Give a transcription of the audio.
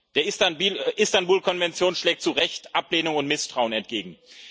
Der Istanbul Konvention schlägt zu Recht Ablehnung und Misstrauen entgegen.